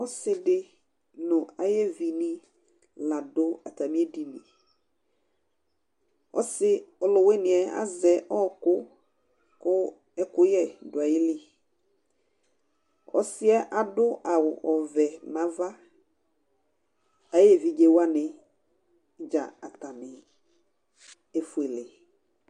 Ɔsɩ dɩ nʋ ayʋ evi nɩ la dʋ atamɩ ediniƆsɩ ɔlʋwɩnɩ yɛ azɛ ɔkʋ kʋ ɛkʋyɛ dʋ ayiliƆsɩɛ adʋ awʋ ɔvɛ nava, ayʋ evidze wanɩ ,atanɩ dza efuele